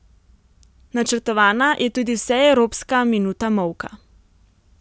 Načrtovana je tudi vseevropska minuta molka.